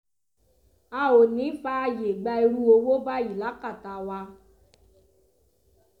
a ò ní í fààyè gba irú owó báyìí lákàtà wa